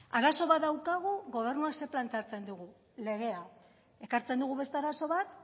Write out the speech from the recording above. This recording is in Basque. arazo bat daukagu gobernua ze planteatzen digu legea ekartzen dugu beste arazo bat